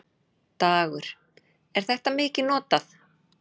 Dagur: Er þetta mikið notað?